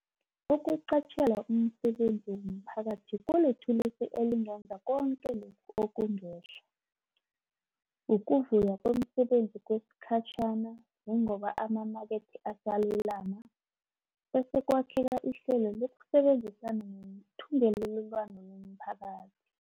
Ukuqatjhelwa umsebenzi womphakathi kulithulusi elingenza koke lokhu okungehla, ukuvulwa kwemisebenzi kwesikhatjhana njengoba amamakethe asalulama, bese kwakheka ihlelo lokusebenzisana ngethungelelwano lomphakathi.